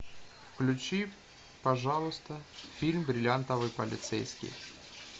включи пожалуйста фильм бриллиантовый полицейский